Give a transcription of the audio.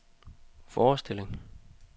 forestilling